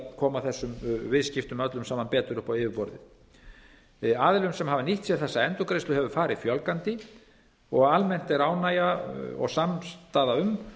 koma þessum viðskiptum öllum saman betur upp á yfirborðið aðilum sem hafa nýtt sér þessa endurgreiðslu hefur farið fjölgandi og almennt er ánægja og samstaða um